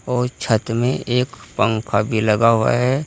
और छत में एक पंखा भी लगा हुआ है।